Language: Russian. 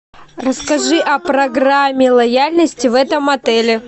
расскажи о программе лояльности в этом отеле